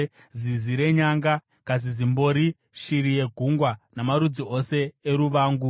zizi renyanga, kazizimbori, shiri yegungwa, namarudzi ose eruvangu,